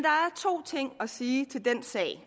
to ting at sige til den sag